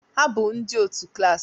Ha bụ ndị otu klas